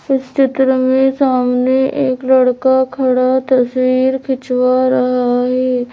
इस चित्र में सामने एक लड़का खड़ा तस्वीर खिंचवा रहा है--